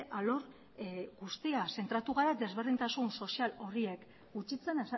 alor guztia zentratu gara desberdintasun sozial horiek gutxitzen